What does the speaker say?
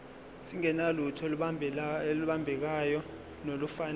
singenalutho olubambekayo nolufanele